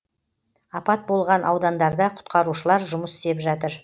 апат болған аудандарда құтқарушылар жұмыс істеп жатыр